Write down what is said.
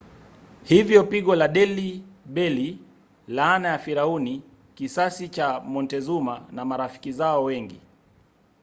hivyo pigo la delhi belly laana ya firauni kisasi cha montezuma na marafiki zao wengi